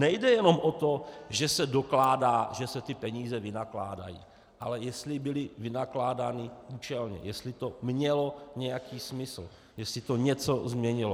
Nejde jenom o to, že se dokládá, že se ty peníze vynakládají, ale jestli byly vynakládány účelně, jestli to mělo nějaký smysl, jestli to něco změnilo.